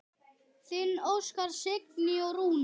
Þín Óskar, Signý og Rúnar.